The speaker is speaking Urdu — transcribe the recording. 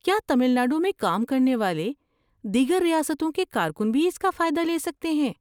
کیا تمل ناڈو میں کام کرنے والے دیگر ریاستوں کے کارکن بھی اس کا فائدہ لے سکتے ہیں؟